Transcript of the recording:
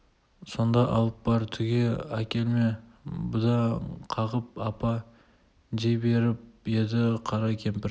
сонда алып бар түге әкелме бұнда қағып апа дей беріп еді қара кемпір